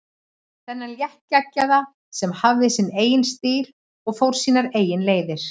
Þennan léttgeggjaða sem hafði sinn eigin stíl og fór sínar eigin leiðir.